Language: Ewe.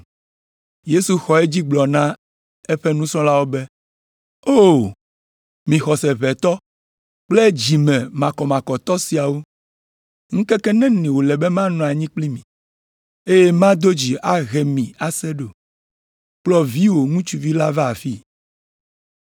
Yesu xɔ edzi gblɔ na eƒe nusrɔ̃lawo be, “O! Mi xɔse ʋɛ tɔ kple dzi me makɔmakɔtɔ siawo, ŋkeke neni wòle be manɔ anyi kpli mi, eye mado dzi ahe mi ase ɖo? Kplɔ viwò ŋutsuvi la va afii.”